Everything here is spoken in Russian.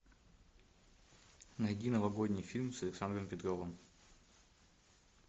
найди новогодний фильм с александром петровым